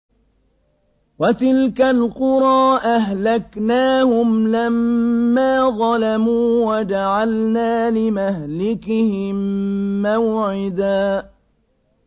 وَتِلْكَ الْقُرَىٰ أَهْلَكْنَاهُمْ لَمَّا ظَلَمُوا وَجَعَلْنَا لِمَهْلِكِهِم مَّوْعِدًا